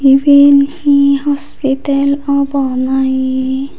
iben hi hospital obw na hi.